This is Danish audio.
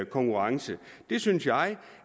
konkurrence det synes jeg